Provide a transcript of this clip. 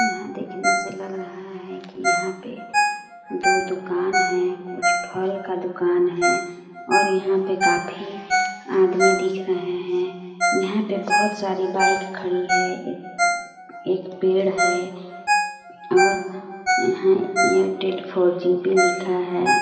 यहाँ देखने से लग रहा है कि यहाँ पे दो दुकान है कुछ फल का दुकान है और यहाँ पे काफी आदमी दिख रहे है यहाँ पे बहुत सारी बाइक खड़ी है एक एक पेड़ है और यहाँ एयरटेल फोर जी भी लिखा है।